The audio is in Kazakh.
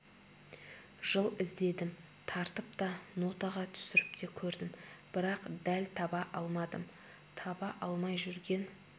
жыл іздедім тартып та нотаға түсіріп те көрдім бірақ дәл таба алмадым таба алмай жүрген